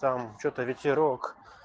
там что-то ветерок